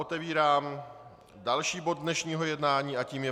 Otevírám další bod dnešního jednání a tím je